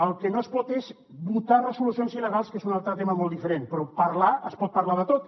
el que no es pot és votar resolucions il·legals que és un altre tema molt diferent però parlar es pot parlar de tot